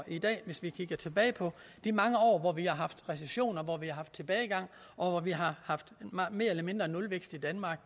i dag hvis vi kigger tilbage på de mange år hvor vi har haft recession hvor vi har haft tilbagegang og hvor vi har haft mere eller mindre nulvækst i danmark